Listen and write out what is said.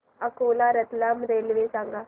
Akola Ratlam railway सांगा